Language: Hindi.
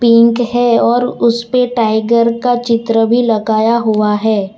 पिंक है और उसपे टाइगर का चित्र भी लगाया हुआ है।